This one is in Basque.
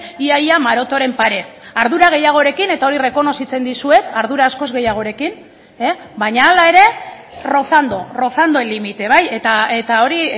ia ia marotoren pare ardura gehiagorekin eta hori errekonozitzen dizuet ardura askoz gehiagorekin baina hala ere rozando rozando el límite bai eta hori